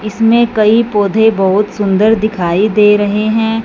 इसमें कई पौधे बहोत सुंदर दिखाई दे रहे है।